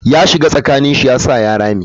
Ya shiga tsakani shi yasa ya rame.